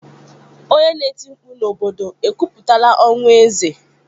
Onye na-eti mkpu n'obodo ekwupụtala ọnwụ eze?